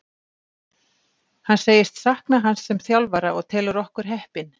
Hann segist sakna hans sem þjálfara og telur okkur heppin.